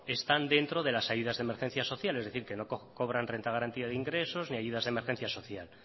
están dentro de las ayudas de emergencia social es decir que no cobran renta garantía de ingresos ni ayudas de emergencia social